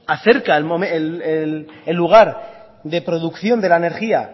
acerca el lugar de producción de la energía